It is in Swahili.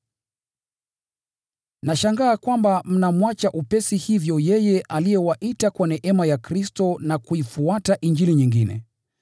Nashangaa kwamba mnamwacha upesi hivyo yeye aliyewaita kwa neema ya Kristo na kuifuata Injili nyingine,